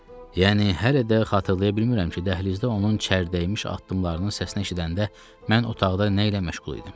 Yəni hələ də xatırlaya bilmirəm ki, dəhlizdə onun çər dəymiş addımlarının səsini eşidəndə mən otaqda nə ilə məşğul idim.